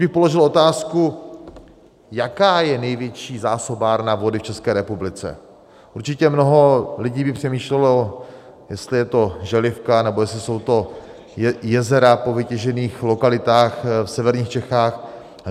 Kdybych položil otázku "jaká je největší zásobárna vody v České republice?", určitě mnoho lidí by přemýšlelo, jestli je to Želivka, nebo jestli jsou to jezera po vytěžených lokalitách v severních Čechách.